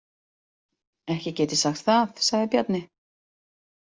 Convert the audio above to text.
Ekki get ég sagt það, sagði Bjarni.